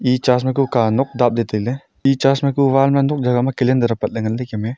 e church ma ku ka nok dapley tailey e church ma ku wall ma nok jagah ma calendar patla nganley kem e.